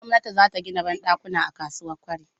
Gwamnati zata gida banɗakuna a kasuwa kwari